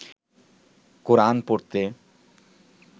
কোরান পড়তে